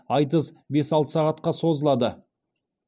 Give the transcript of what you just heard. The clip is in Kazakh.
айтыс бес алты сағатқа созылады